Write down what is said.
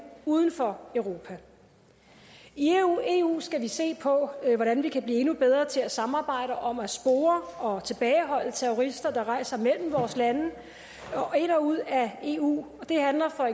uden for europa i eu skal vi se på hvordan vi kan blive endnu bedre til at samarbejde om at spore og tilbageholde terrorister der rejser mellem vores lande ind og ud af eu det handler for